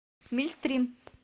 мильстрим